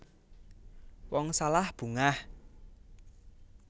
Wong salah bungah